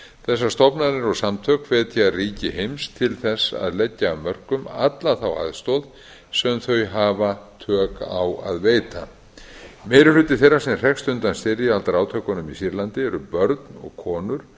þessar stofnanir og samtök hvetja ríki heims til þess að leggja af mörkum alla þá aðstoð sem þau hafa tök á að veita meiri hluti þeirra sem hrekst undan styrjaldarátökunum í sýrlandi eru börn og konur